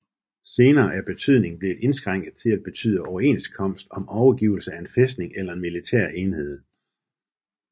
Senere er betydningen blevet indskrænket til at betyde overenskomst om overgivelse af en fæstning eller en militær enhed